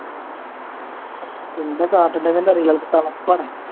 എന്താ കാട്ടണ്ടേന്ന് തന്നെ അറിയില്ല അങ്ങട്ട് തകർക്കാണെ